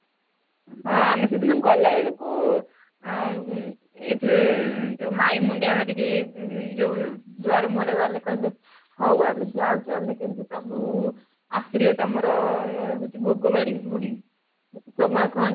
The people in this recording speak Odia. ହଁ, ଆମେ ସେଦିନ ଗଲାବେଳକୁ ଆଁ ଏଇଠି ଯୋଉ ମାଇଁ ମୁଣ୍ଡିଆ ମାରିକି ଉଁ ଯୋଉ ଦୁଆର ମୁଣ୍ଡରେ ଗଲେ କହିଲେ ହଉ ଆମେ ଯାଉଛୁ ଆମେ କେମିତି ପ୍ରଭୁ ଆସିଲେ ତମର ଅଂ ହଉଚି ଭୋଗ ବାଡ଼ି ପୁଣି ସୋମନାଥଙ୍କ ଠି ପୁଣି